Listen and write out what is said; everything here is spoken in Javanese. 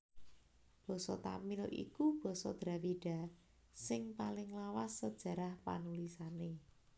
Basa Tamil iku basa Dravida sing paling lawas sajarah panulisané